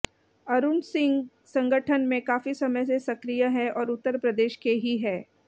अरुण सिंह संगठन में काफी समय से सक्रिय हैं और उत्तर प्रदेश के ही हैं